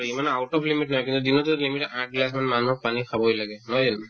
ইমান out of limit নাই কিন্তু গিলাচত limit আঠ গিলাচ মান মানুহক পানী খাবই লাগে নহয় জানো